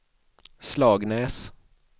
Slagnäs